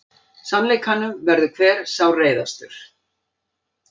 Sannleikanum verður hver sárreiðastur.